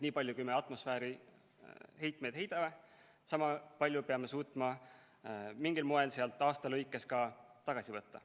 Nii palju, kui me atmosfääri heitmeid heidame, peame suutma mingil moel sealt aasta jooksul ka tagasi võtta.